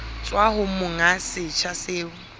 tswa ho monga setsha seo